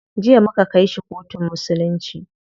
Jiya muka kai shi kotun musulunci.